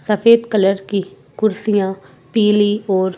सफेद कलर की कुर्सियां पीले और--